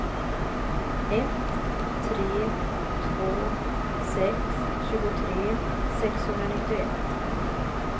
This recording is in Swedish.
ett tre två sex tjugotre sexhundranittioett